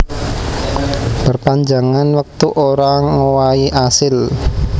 Perpanjangan wektu ora ngowahi asil